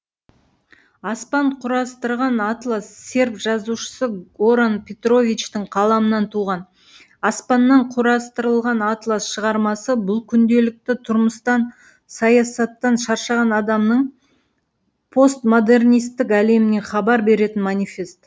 аспан құрастырған атлас серб жазушысы горан петровичтің қаламынан туған аспаннан құрастырылған атлас шығармасы бұл күнделікті тұрмыстан саясаттан шаршаған адамның постмодернистік әлемінен хабар беретін манифест